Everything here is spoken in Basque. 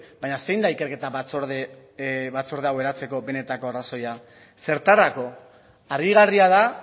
baina zein da ikerketa batzorde hau eratzeko benetako arrazoia zertarako harrigarria da